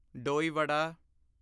ਡੋਈ ਵਡਾ দই বড়া